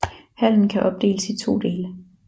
Hallen kan opdeles i to dele